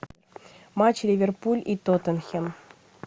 матч ливерпуль и тоттенхэм